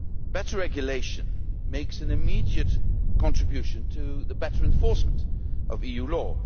Better regulation makes an immediate contribution to the better enforcement of EU law.